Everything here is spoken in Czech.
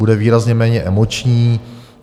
Bude výrazně méně emoční.